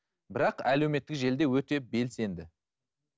бірақ әлеуметтік желіде өте белсенді